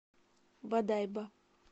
бодайбо